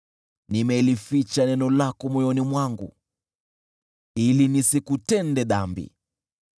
Nimelificha neno lako moyoni mwangu ili nisikutende dhambi.